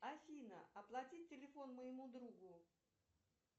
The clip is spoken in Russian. афина оплати телефон моему другу